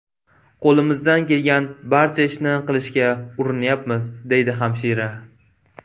Qo‘limizdan kelgan barcha ishni qilishga urinyapmiz”, deydi hamshira.